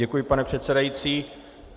Děkuji, pane předsedající.